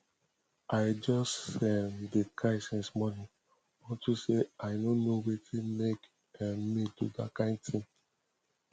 i just um dey cry since morning unto say i no know wetin make um me do dat kin thing